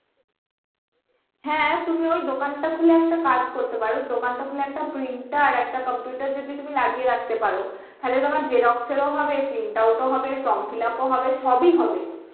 হ্যাঁ তুমি ওই দোকানটা খুলে একটা কাজ করতে পার দোকানটা খুলে একটা printer একটা computer যদি তুমি লাগিয়ে রাখতে পার তাহলে তোমার xerox এরও হবে print out ও হবে form fillup ও হবে সবই হবে